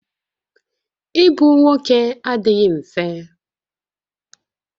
Ịbụ nwoke adịghị mfe